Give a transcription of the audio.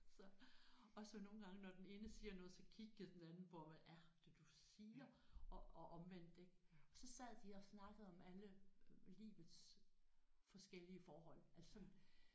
Så og så nogle gange når den ene siger noget så kiggede den anden på ham hvad er det du siger og og omvendt ik og så sad de og snakkede om alle livets forskellige forhold altså sådan